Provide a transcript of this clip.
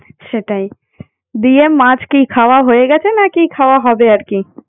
সেটাই দিয়ে মাছ কি খাওয়া হয়ে গেছে নাকি খাওয়া হবে আর কি